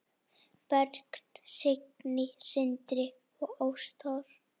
Börn: Signý, Sindri og Ástrós.